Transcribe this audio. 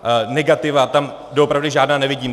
Negativa tam doopravdy žádná nevidím.